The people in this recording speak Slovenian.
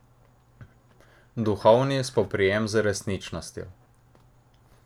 Duhovni spoprijem z resničnostjo.